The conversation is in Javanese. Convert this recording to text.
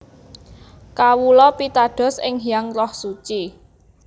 Kawula pitados ing Hyang Roh Suci